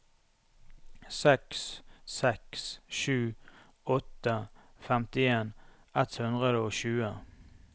seks seks sju åtte femtien ett hundre og tjue